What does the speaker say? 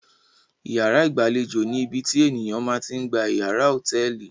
Ìyàrá ìgbàlejò ni ibi tí ènìyàn ma ti ń gba ìyàrá hòtẹ́ẹ́lì.